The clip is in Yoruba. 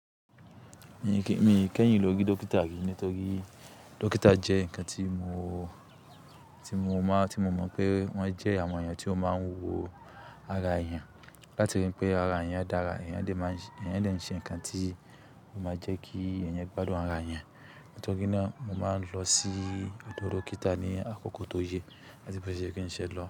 Mi kẹ́yin lọ rí dókítà rìí nítorí dókítà jẹ́ nǹkan tí mo mọ̀ pé wọ́n jẹ́ àwọn èèyàn tí ó máa ń wo ara èèyàn. Látirí pé ara èèyàn dára, èèyàn dẹ̀ n ṣe nǹkan tí ó máa jẹ́ kí èèyàn gbádùn ara yan. Nítorí náà mo máa ń lọ sí odò dókítà ní àkókò tó yẹ àti bó ti yẹ́ kí n ṣe lọ.